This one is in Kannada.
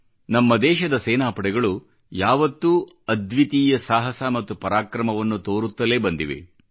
ನಮ್ಮ ದೇಶದ ಸೇನಾಪಡೆಗಳು ಯಾವತ್ತೂ ಅದ್ವಿತೀಯ ಸಾಹಸ ಮತ್ತು ಪರಾಕ್ರಮವನ್ನು ತೋರುತ್ತಲೇ ಬಂದಿವೆ